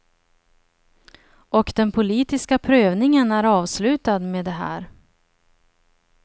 Och den politiska prövningen är avslutad med det här.